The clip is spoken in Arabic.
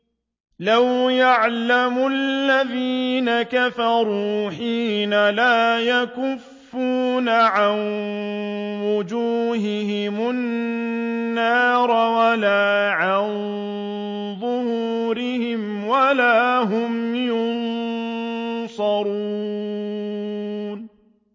لَوْ يَعْلَمُ الَّذِينَ كَفَرُوا حِينَ لَا يَكُفُّونَ عَن وُجُوهِهِمُ النَّارَ وَلَا عَن ظُهُورِهِمْ وَلَا هُمْ يُنصَرُونَ